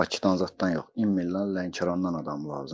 Bakıdan zaddan yox, immillan Lənkərannan adam lazımdır.